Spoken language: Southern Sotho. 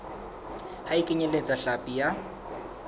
ha e kenyeletse hlapi ya